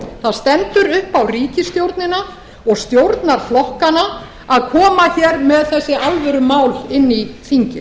það stendur upp á ríkisstjórnina og stjórnarflokkana að koma hér með þessi alvörumál inn í þingið við